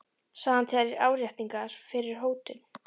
sagði hann til áréttingar fyrri hótun.